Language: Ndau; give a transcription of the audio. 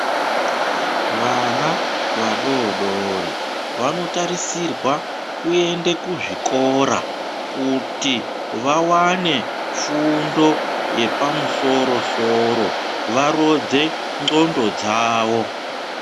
Vana vadoodori vanotarisirwa kuende kuzvikora kuti vawane fundo yepamusoro soro varodze nzxondo dzavo.